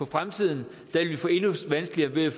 fremtiden vil vi få endnu vanskeligere ved at